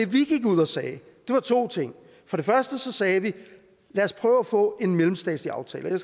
vi gik ud og sagde to ting for det første sagde vi lad os prøve at få en mellemstatslig aftale og